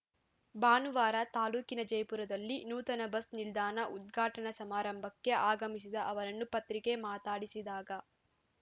ಭಾನುವಾರ ತಾಲೂಕಿನ ಜಯಪುರದಲ್ಲಿ ನೂತನ ಬಸ್‌ ನಿಲ್ದಾಣ ಉದ್ಘಾಟನಾ ಸಮಾರಂಭಕ್ಕೆ ಆಗಮಿಸಿದ ಅವರನ್ನು ಪತ್ರಿಕೆ ಮಾತಾಡಿಸಿದಾಗ